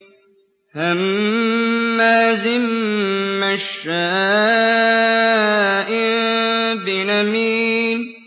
هَمَّازٍ مَّشَّاءٍ بِنَمِيمٍ